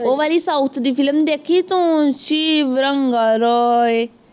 ਉਹ ਵਾਲੀ south ਦੀ ਫਿਲਮ ਦੇਖੀ ਤੂੰ